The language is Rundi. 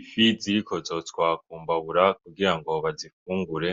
Ifi ziriko zotswa ku mbabura kugira ngo bazifungure.